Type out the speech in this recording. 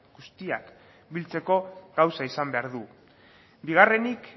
guztiak biltzeko gauza izan behar du bigarrenik